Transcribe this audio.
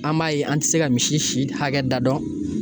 An b'a ye an tɛ se ka misi si hakɛ da dɔn